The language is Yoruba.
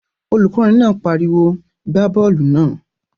Olùkọ́ni náà pariwo "gbá bọ́ọ̀lù náà!"